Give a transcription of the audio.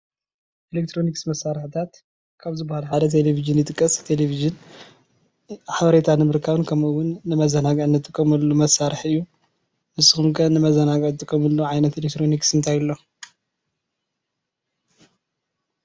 ኤሌክትሮኒክስ መሳርሒታት ካብ ዝበሃሉ ሓደ ቴሌቪዥን ይጥቀስ። ቴሌቪዥን ሓበሬታ ንምርካብን ከምኡ እውን ን መዘናግዕን ንጥቀመሉ መሳርሒ እዪ ።ንስኹም ከ ንመዘናግዒ ትጥቀምሉ ዓይነት ኤሌክትሮኒክስ እንታይ አሎ?